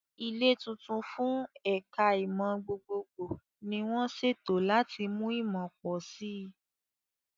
Ilé tuntun fún ẹ̀ka ìmọ̀ gbogbogbò ni wọ́n ṣètò láti mú ìmọ̀ pọ̀ sí i.